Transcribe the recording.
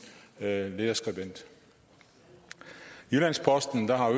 lederskribent i jyllands posten har